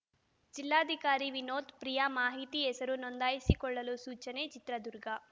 ಜಿಲ್ಲಾಧಿಕಾರಿ ವಿನೋತ್‌ ಪ್ರಿಯಾ ಮಾಹಿತಿ ಹೆಸರು ನೋಂದಾಯಿಸಿಕೊಳ್ಳಲು ಸೂಚನೆ ಚಿತ್ರದುರ್ಗ